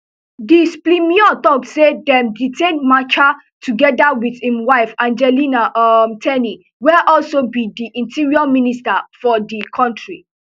di splmio tok say dem detain machar togeda wit im wife angelina um ten y wey also bi di interior minister for di kontri